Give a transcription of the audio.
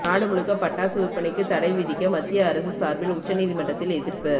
நாடு முழுக்க பட்டாசு விற்பனைக்கு தடை விதிக்க மத்திய அரசு சார்பில் உச்சநீதிமன்றத்தில் எதிர்ப்பு